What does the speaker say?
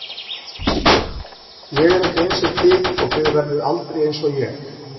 Ég er ekki einsog þið og þið verðið aldrei einsog ég.